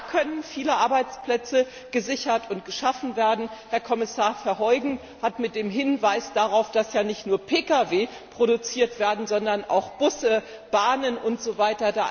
Auch da können viele Arbeitsplätze gesichert und geschaffen werden. Herr Kommissar Verheugen hat mit dem Hinweis darauf, dass ja nicht nur Pkw produziert werden, sondern auch Busse, Bahnen usw.,